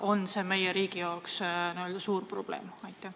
On see meie riigi jaoks suur probleem?